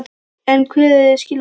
En hver eru skilaboðin?